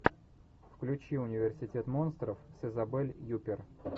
включи университет монстров с изабель юппер